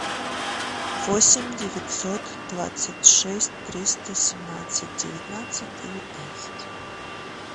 восемь девятьсот двадцать шесть триста семнадцать девятнадцать девятнадцать